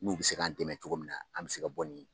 N'u bɛ se k'an dɛmɛ cogo min na an bɛ se ka bɔ nin